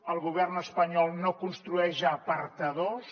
el govern espanyol no construeix apartadors